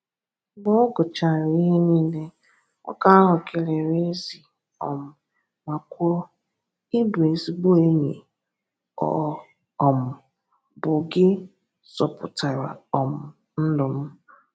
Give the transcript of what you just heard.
Mgbe ọ guchara ihe niile, nwoke ahụ keleere Ezi um ma kwuo, “Ị bụ ezigbo enyi, ọ um bụ gị zọpụtara um ndụ m.